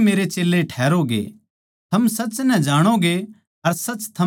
थम सच नै जाणोगे अर सच थमनै आजाद करैगा